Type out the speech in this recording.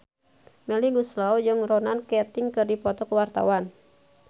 Melly Goeslaw jeung Ronan Keating keur dipoto ku wartawan